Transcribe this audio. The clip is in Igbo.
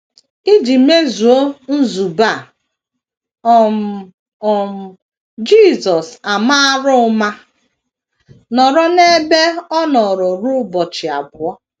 Iji mezuo nzube a um, um Jisọs amara ụma nọrọ n’ebe ọ nọ ruo ụbọchị abụọ.